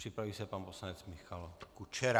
Připraví se pan poslanec Michal Kučera.